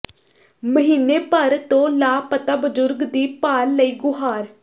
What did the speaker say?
ਮਹੀਨੇ ਭਰ ਤੋਂ ਲਾਪਤਾ ਬਜ਼ੁਰਗ ਦੀ ਭਾਲ ਲਈ ਗੁਹਾਰ